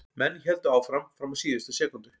Menn héldu áfram fram á síðustu sekúndu.